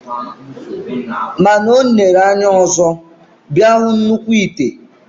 Mana onere anya ọzọ, bia hu nnukw ite.